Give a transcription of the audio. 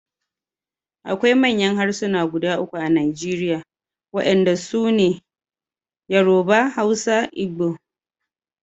Akwai manya harsuna guda uku a Najeriya wadanda su ne Yoruba, Hausa Igbo.